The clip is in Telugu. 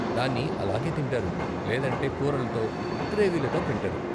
దాన్ని అలాగే తింటారు, లేదంటే కూరలతో, గ్రేవీలతో తింటారు.